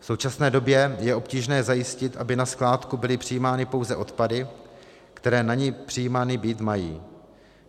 V současné době je obtížné zajistit, aby na skládku byly přijímány pouze odpady, které na ni přijímány být mají.